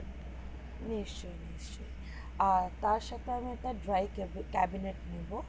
নিশ্চয়ই নিশ্চয়ই আর তার সাথে আমি dry cabinet নিবো